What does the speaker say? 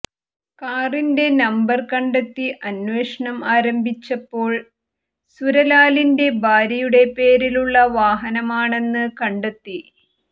കാറിന്റെ നമ്പർ കണ്ടെത്തി അന്വേഷണം ആരംഭിച്ചപ്പോൾ സുരലാലിന്റെ ഭാര്യയുടെ പേരിലുള്ള വാഹനമാണെന്ന് കണ്ടെത്തി